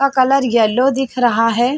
का colour yellow दिख रहा हे।